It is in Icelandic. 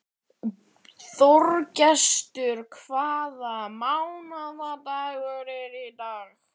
Þorgestur, hvaða mánaðardagur er í dag?